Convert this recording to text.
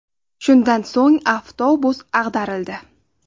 Shundan so‘ng avtobus ag‘darildi.